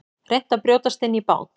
Reynt að brjótast inn í bát